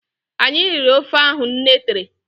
Anyị riri ofe ahụ nne tere